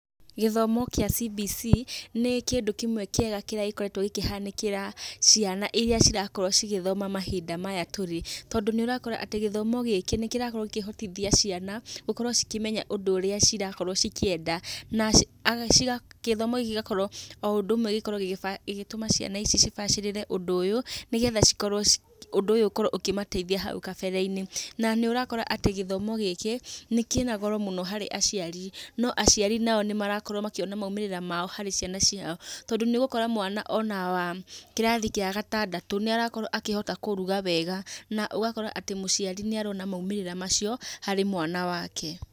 Githomo gĩa CBC nĩ kĩndũ kĩmwe kĩega kĩrĩa gĩkoretwo gĩkĩhanĩkĩra ciana irĩa cirakorwo cigĩthoma mahinda maya tũrĩ, tondũ nĩũrakora atĩ gĩthomo gĩkĩ nĩkĩrakorwo gĩkĩhotithia ciana gũkorwo cikĩmenya ũndũ ũrĩa cirakorwo cikĩenda. Gĩthomo gĩkĩ o ũndũ ũmwe nĩkĩratũma ciana ici cibacĩrĩre ũndũ ũyũ, nĩgetha ũndũ ũyũ ũkorwo ũkĩmateithia hau kabere-inĩ. Na nĩũrakora atĩ gĩthomo gĩkĩ kĩna goro mũno harĩ aciari, no aciari nao nĩmarakorwo makĩona maumĩrĩra mao harĩ ciana ciao. Tondũ nĩũgũkora mwana ona wa kĩrathi gĩa gatandatũ nĩarakorwo akĩhota kũruga wega, na ũgakora atĩ mũciari nĩarona maumĩrĩra macio harĩ mwana wake.